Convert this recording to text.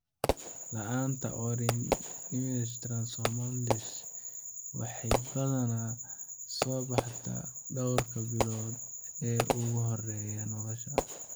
La'aanta Ornithine transcarbamylase (OTC) waxay badanaa soo baxdaa dhowrka maalmood ee ugu horreeya nolosha.